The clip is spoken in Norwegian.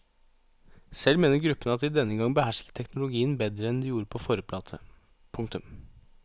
Selv mener gruppen at de denne gang behersker teknologien bedre enn de gjorde på forrige plate. punktum